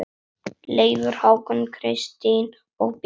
Leifur, Hákon, Kristín og Bjarni.